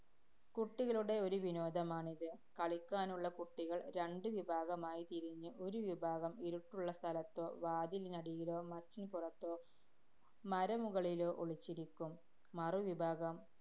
കുട്ടികളുടെ ഒരു വിനോദമാണിത്. കളിക്കാനുള്ള കുട്ടികള്‍ രണ്ട് വിഭാഗമായി തിരിഞ്ഞ്, ഒരു വിഭാഗം ഇരുട്ടുള്ള സ്ഥലത്തോ, വാതിലിനടിയിലോ, മച്ചിന്‍പുറത്തോ, മരമുകളിലോ ഒളിച്ചിരിക്കും. മറുവിഭാഗം